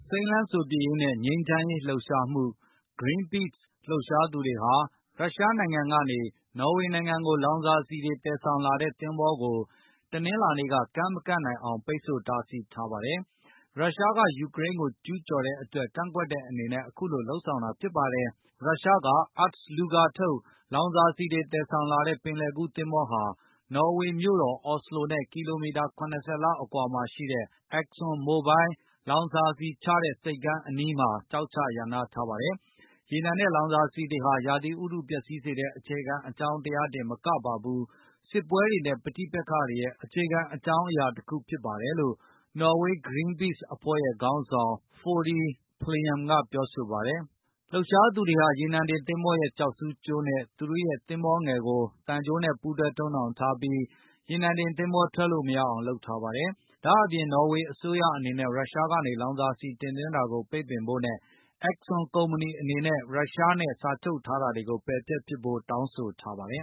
စိမ်းလန်းစိုပြေရေးနဲ့ ငြိမ်းချမ်းရေး လှုပ်ရှားမှု Green Peace လှုပ်ရှားသူတွေဟာ ရုရှားနို င်ငံကနေ နော်ဝေနိုင်ငံကို လောင်စာဆီတွေ သယ်ဆောင်လာတဲ့ သင်္ဘောကို တနင်္လာနေ့က ကမ်းမကပ်နိုင်အောင် ပိတ်ဆို့တားဆီး ထားပါတယ်။ ရုရှားက ယူကရိန်းကု ိကျူးကျော်တဲ့ အတွက် ကန့်ကွက်တဲ့ အနေနဲ့ အခုလို လုပ်ဆောင်တာဖြစ်ပါတယ်။ ရုရှား Ust Luga ထုတ် လောင်စာဆီတွေ သယ်ဆောင်လာတဲ့ ပင်လယ်ကူးသင်္ဘောဟာ နော်ဝေမြို့တော် အော်စလိုနဲ့ ကီလိုမီတာ ၇၀ လောက်အကွာမှာရှိတဲ့ Exxon Mobil လောင်စာဆီချတဲ့ ဆိပ်ကမ်းအနီးမှာ ကျောက်ချ ရပ်နားထားပါတယ်။ ရေနံနဲ့ လောင်စာဆီတွေဟာ ရာသီဥတု ပျက်စီးစေတဲ့ အခြေခံအကြောင်းတရား တင်မကပါဘူး၊ စစ်ပွဲတွေနဲ့ ပဋိပက္ခတွေရဲ့ အခြေခံ အကြောင်းအရာတခုလည်း ဖြစ်ပါတယ်လို့ နော်ဝေး Green Peace အဖွဲ့ရဲ့ ခေါင်းဆောင် Frode Pleym ကပြောဆို ပါတယ်။ လှုပ်ရှားသူတွေဟာ ရေနံတင်သင်္ဘောရဲ့ ကျောက်ဆူးကြိုးနဲ့ သူတို့ သင်္ဘောငယ်ကို သံကြိုးနဲ့ ပူးတွဲ တုပ်နှောင်ထားပြီး ရေနံတင်သင်္ဘော ထွက်လို့မရအောင် လုပ်ထားပါတယ်။ ဒါ့အပြင် နော်ဝေအစိုးရအနေနဲ့ ရုရှားကနေ လောင်စာဆီ တင်သွင်းတာကို ပိတ်ပင်ဖို့နဲ့ Exxon ကုမ္ပဏီ အနေနဲ့ ရုရှားနဲ့ စာချုပ်ထားတာတွေကို ပယ်ဖျက်ပစ်ဖို့ တောင်းဆိုထားပါတယ်